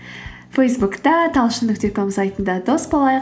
фейсбукта талшын нүкте ком сайтында дос болайық